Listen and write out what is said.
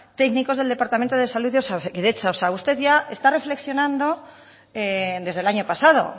técnicos del departamento de salud de osakidetza usted ya está reflexionando desde el año pasado